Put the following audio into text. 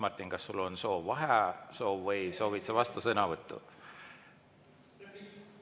Martin, kas sul on soov vaheaega võtta või soovid sa vastusõnavõttu?